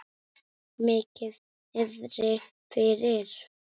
Mikið niðri fyrir.